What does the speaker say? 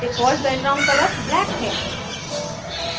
default background color black है